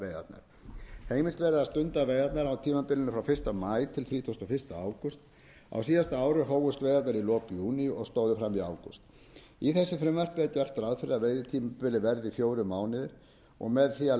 heimilt verði að stunda veiðarnar á tímabilinu frá fyrsta maí a þrítugasta og fyrsta ágúst á síðasta ári hófust veiðarnar í lok júní og stóðu fram í ágúst í þessu frumvarpi er gert ráð fyrir að veiðitímabilið verði fjórir mánuðir og með